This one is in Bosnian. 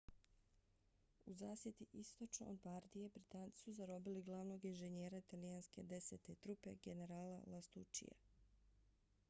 u zasjedi istočno od bardije britanci su zarobili glavnog inženjera italijanske desete trupe generala lastuccija